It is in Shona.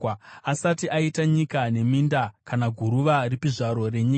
asati aita nyika neminda kana guruva ripi zvaro renyika.